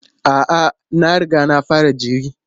A'a, na riga na fara jiri.